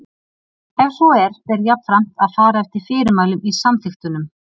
Ef svo er ber jafnframt að fara eftir fyrirmælum í samþykktunum.